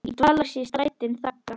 í dvala sig strætin þagga.